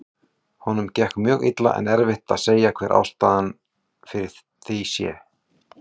Honum gekk mjög illa en erfitt að segja hver ástæðan fyrir því sé.